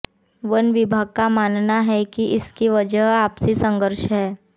one विभाग का मानना है कि इसकी वजह आपसी संघर्ष है